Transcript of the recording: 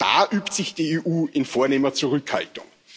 Da übt sich die EU in vornehmer Zurückhaltung.